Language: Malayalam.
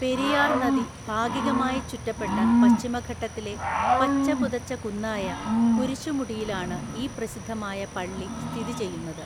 പെരിയാർ (നദി) ഭാഗികമായി ചുറ്റപ്പെട്ട പശ്ചിമഘട്ടത്തിലെ പച്ചപുതച്ച കുന്നായ കുരിശുമുടിയിലാണ് ഈ പ്രസിദ്ധമായ പള്ളി സ്ഥിതി ചെയ്യുന്നത്.